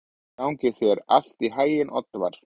Gangi þér allt í haginn, Oddvar.